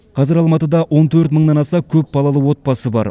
қазір алматыда он төрт мыңнан аса көпбалалы отбасы бар